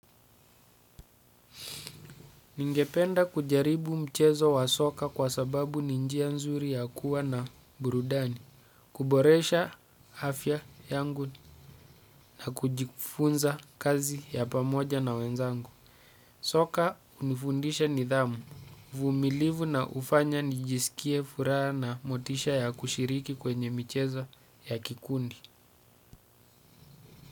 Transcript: Ningependa kujaribu mchezo wa soka kwa sababu ni njia mzuri yakuwa na burudani. Kuboresha afya yangu na kujifunza kazi ya pamoja na wenzangu. Soka hunifundisha nidhamu. Vumilivu na hufanya nijisikie furaha na motisha ya kushiriki kwenye michezo ya kikundi.